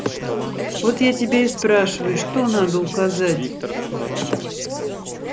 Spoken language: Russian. вот я тебя и спрашиваю что надо указать